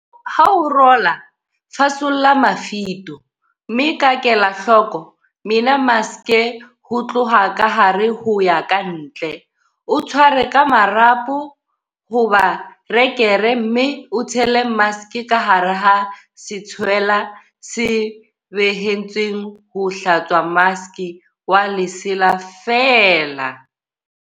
Ha o rola, fasolla mafito, mme ka kelahloko, mena maske ho tloha ka hare ho ya kantle, o tshware ka marapo hoba rekere mme o tshele maske ka hara setshwelwa se behetsweng ho hlatswa maske wa lesela feela.